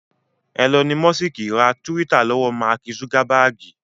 Ẹlọni mọ́sìkì ra túwítà lọ́wọ́ Máàkì zugabaagi